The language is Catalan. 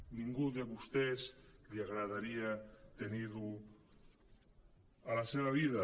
a ningú de vostès li agradaria tenir ho a la seva vida